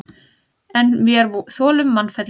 En vér þolum mannfelli.